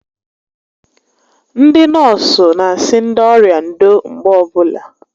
Ndị nọọsụ n'asị ndị ọrịa ndo mgbe ọbụla